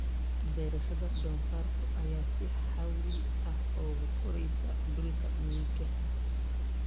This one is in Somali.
Beerashada doofaarka ayaa si xawli ah ugu koraysa dhulka miyiga ah.